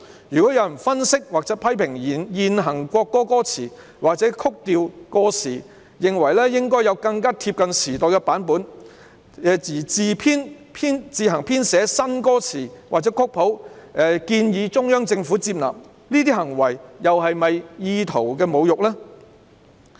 若有人分析或批評現行國歌歌詞，或指曲調過時，認為應該要有更貼近時代的版本而自行編寫新歌詞或曲譜，建議中央政府接納，這些行為是否"意圖侮辱"呢？